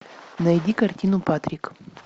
найди картину патрик